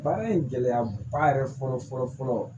Baara in gɛlɛya ba yɛrɛ fɔlɔ fɔlɔ fɔlɔ